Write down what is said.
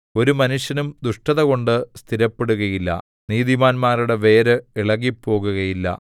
ഒരു മനുഷ്യനും ദുഷ്ടതകൊണ്ട് സ്ഥിരപ്പെടുകയില്ല നീതിമാന്മാരുടെ വേര് ഇളകിപ്പോകുകയില്ല